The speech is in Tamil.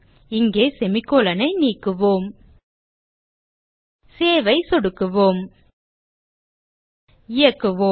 இங்கே செமிகோலன் ஐ நீக்குவோம் சேவ் ஐ சொடுக்குவோம் இயக்குவோம்